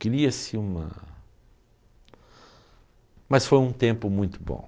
Cria-se uma... Mas foi um tempo muito bom.